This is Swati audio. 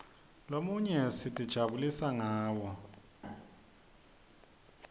lomunye sitijabulisa ngawo